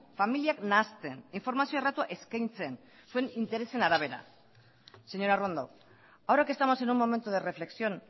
familiak nahasten informazio erratua eskaintzen zuen interesen arabera señora arrondo ahora que estamos en un momento de reflexión